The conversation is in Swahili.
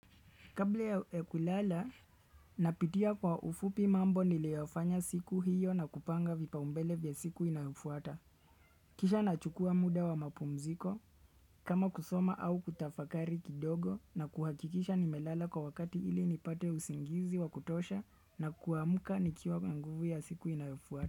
Kabla ya kulala, napitia kwa ufupi mambo niliofanya siku hiyo na kupanga vipaumbele vya siku inayofuata. Kisha nachukua muda wa mapumziko, kama kusoma au kutafakari kidogo na kuhakikisha nimelala kwa wakati ili nipate usingizi wakutosha na kuamuka nikiwa na nguvu ya siku inayofuata.